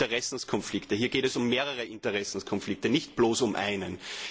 Hier geht es um Interessenkonflikte, hier geht es um mehrere Interessenkonflikte, nicht bloß um einen.